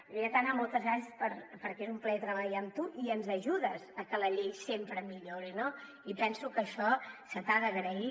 de veritat anna moltes gràcies perquè és un plaer treballar amb tu i ens ajudes a que la llei sempre millori no i penso que això se t’ha d’agrair